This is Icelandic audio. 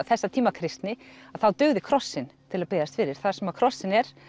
þessa tíma kristni að þá dugði krossinn til að biðjast fyrir þar sem að krossinn er